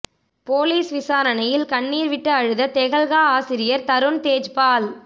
police விசாரணையில் கண்ணீர் விட்டு அழுத தெஹல்கா ஆசிரியர் தரூண் தேஜ்பால்